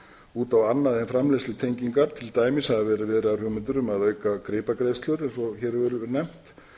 út á annað en framleiðslutengingar til dæmis hafa verið viðraðar hugmyndir um að auka gripagreiðslur eins og hér hefur verið nefnt